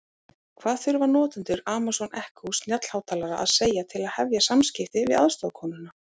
Hvað þurfa notendur Amazon Echo snjallhátalara að segja til að hefja samskipti við aðstoðarkonuna?